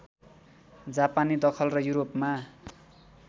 जापानी दखल र युरोपमा